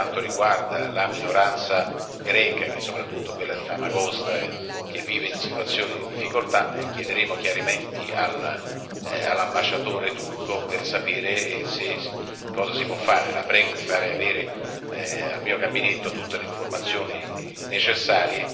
Sappiamo qual è la situazione in questo paese, anche per quanto riguarda la minoranza greca, è soprattutto quella di Famagosta che vive in situazione di difficoltà, e chiederemo chiarimenti all'ambasciatore turco per sapere cosa si può fare.